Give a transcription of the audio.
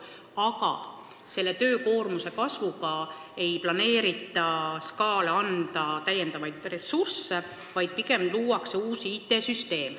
Aga selle kasvu tõttu ei planeerita Sotsiaalkindlustusametile anda täiendavaid ressursse, vaid pigem luuakse uus IT-süsteem.